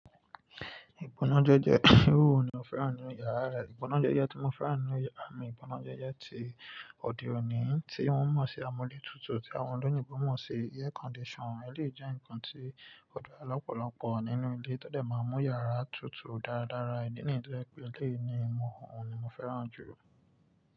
Ìgbónájẹjẹ, irú wo ni o fẹ́ràn nínú yàrá rẹ. Ìgbónájẹjẹ tí mo fẹ́ràn nínú yàrá mi, ìgbónájẹjẹ ti òde òní tí wọ́n mọ̀ sí amúlétutù tí àwọn olóyìnbo mọ̀ sí air conditioner. Eléyìí jẹ́ ǹkan tí ó dára lọ́pọ̀lọpọ̀ nínú ilé, tó dẹ̀ máa ń mú yàrá tutù dáradára, ìdí nìyí tó jẹ́ pé eléyìí ni mo, òun ni mo fẹ́ràn jù.